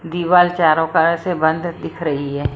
दीवाल चारों कार से बंद दिख रही है।